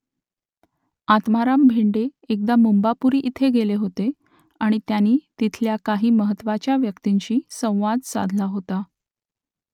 आत्माराम भेंडे एकदा मुंबापुरी येथे गेले होते आणि त्यांनी तिथल्या काही महत्त्वाच्या व्यक्तींशी संवाद साधला होता